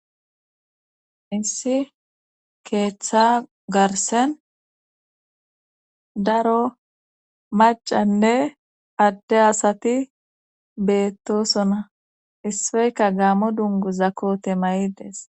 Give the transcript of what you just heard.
issi keeththa garsen daro macanne adde asati beettosona isseyka gaamo dungu za kote ma7ides